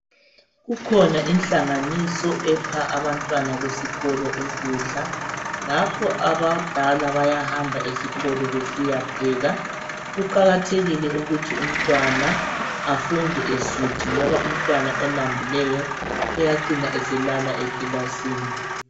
Kukhona ihlanganiso epha abantwana besikolo ukudla. Ngakhi abadala bayahamba esikolo besiyapheka. Kuqakathekile ukuthi umntwana afunde esuthi ngoba umntwana olambileyo uyalala ekilasini